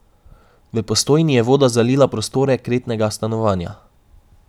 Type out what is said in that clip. V Postojni je voda zalila prostore kletnega stanovanja.